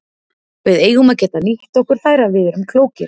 Við eigum að geta nýtt okkur þær ef við erum klókir.